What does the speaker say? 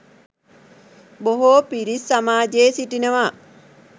බොහෝ පිරිස් සමාජයේ සිටිනවා